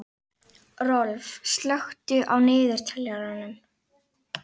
Rolf, slökktu á niðurteljaranum.